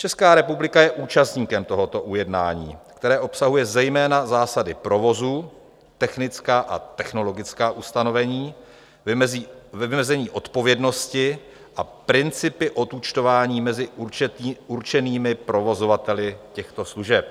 Česká republika je účastníkem tohoto ujednání, které obsahuje zejména zásady provozu, technická a technologická ustanovení, vymezení odpovědnosti a principy odúčtování mezi určenými provozovateli těchto služeb.